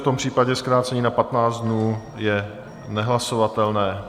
V tom případě zkrácení na 15 dnů je nehlasovatelné.